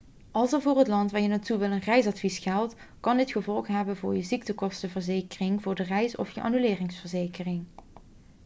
als er voor het land waar je naartoe wilt een reisadvies geldt kan dit gevolgen hebben voor je ziektekostenverzekering voor de reis of je annuleringsverzekering